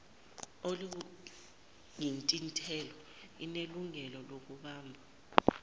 oluyithintayo inelungelo lokubamba